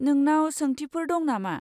नोंनाव सोंथिफोर दं नामा?